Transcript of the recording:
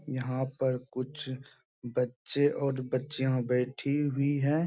यहाँ पर कुछ बच्चे और बच्चियाँ बैठी हुई हैं ।